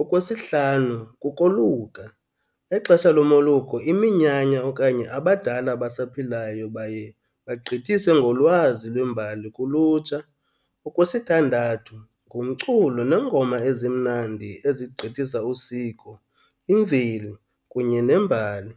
Okwesihlanu, kukoluka. Exesha lomoluko iminyanya okanye abadala abasaphilayo baye bagqithise ngolwazi lwembali kulutsha. Okwesithandathu, ngumculo neengoma ezimnandi ezigqithisa usiko, imveli kunye nembali.